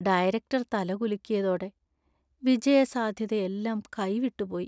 Director‍ തല കുലുക്കിയതോടെ വിജയസാധ്യതയെല്ലാം കൈവിട്ടുപോയി.